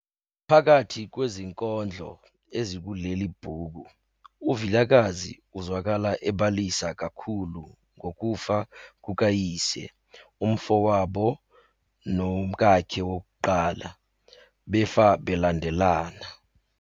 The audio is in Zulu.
Phakathi kwezinkondlo ezikuleli bhuku uVilakazi uzwakala ebalisa kakhulu ngokufa kukayise, umfowabo nomkakhe wokuqala, befa belandelana.